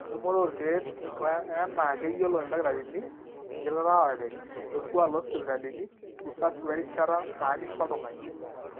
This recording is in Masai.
entumoto oorkeek o enaa keyiolo ildakitarini, ekitalaare, orkuuaak loosipitalini, usafi werishata naanyisho oltung'ani